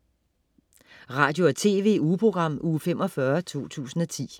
Radio- og TV-ugeprogram Uge 45, 2010